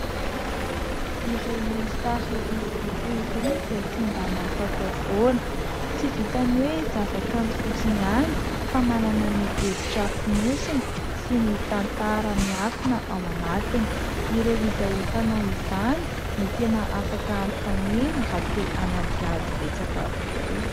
Ireny sary hosodoko ireny dia tsy mba nataotao foana. Tsy vitan'ny hoe zava-kanto fotsiny ihany fa manana ny hevitra fonosony sy ny tantara miafina ao anatiny. Ireo izay mpanao izany no tena afaka hanontaniana raha te hanadihady betsaka kokoa.